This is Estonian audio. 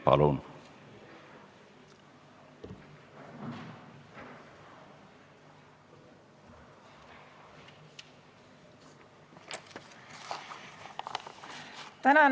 Palun!